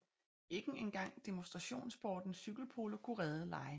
Ikke en gang demonstrationssporten cykelpolo kunne redde legene